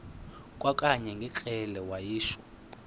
kwakanye ngekrele wayishu